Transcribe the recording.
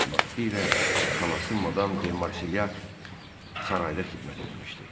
Vaxtilə xalası madam Demarsilyak sarayda xidmət eləmişdi.